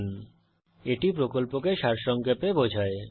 এটি কথ্য টিউটোরিয়াল প্রকল্পকে সারসংক্ষেপে বোঝায়